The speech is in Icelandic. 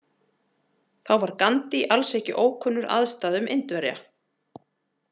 Þá var Gandhi alls ekki ókunnur aðstæðum Indverja.